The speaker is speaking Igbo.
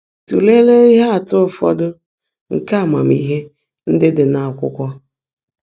Tụ́leèlé íhe ạ́tụ́ ụfọ́dụ́ nkè ámaàmíhé ndị́ ḍị́ nà ákwụ́kwọ́.